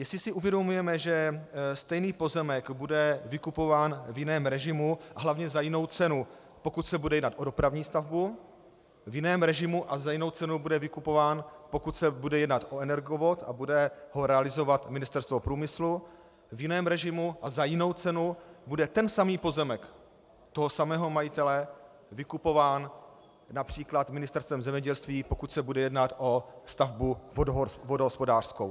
Jestli si uvědomujeme, že stejný pozemek bude vykupován v jiném režimu a hlavně za jinou cenu, pokud se bude jednat o dopravní stavbu, v jiném režimu a za jinou cenu bude vykupován, pokud se bude jednat o energovod a bude ho realizovat Ministerstvo průmyslu, v jiném režimu a za jinou cenu bude ten samý pozemek toho samého majitele vykupován například Ministerstvem zemědělství, pokud se bude jednat o stavbu vodohospodářskou.